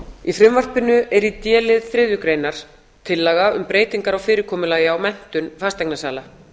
í frumvarpinu er í d lið þriðju greinar tillaga um breytingar á fyrirkomulagi á menntun fasteignasala